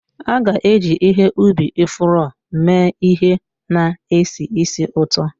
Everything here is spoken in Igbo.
A ga-eji ihe ubi ifuru mee ihe na-esi ísì ụtọ.